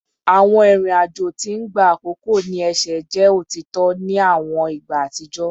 Awọn irin ajo ti n gba akoko ni ẹsẹ jẹ otitọ ni awọn igba atijọ